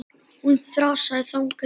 Hún þrasaði þangað til.